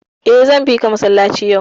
Eh, zan bika masallaci yau.